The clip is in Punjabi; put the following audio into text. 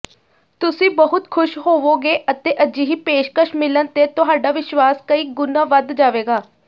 ਤੁਸੀਂ ਬਹੁਤ ਖ਼ੁਸ਼ ਹੋਵੋਗੇ ਅਤੇ ਅਜਿਹੀ ਪੇਸ਼ਕਸ਼ ਮਿਲਣ ਤੇ ਤੁਹਾਡਾ ਵਿਸ਼ਵਾਸ ਕਈ ਗੁਣਾ ਵੱਧ ਜਾਵੇਗਾ